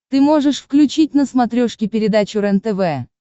ты можешь включить на смотрешке передачу рентв